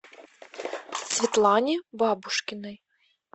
светлане бабушкиной